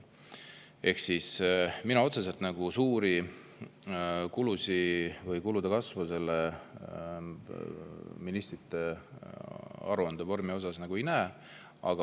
Aga mina otseselt suuri kulusid või kulude kasvu selle ministrite aruandevormi tõttu ei näe.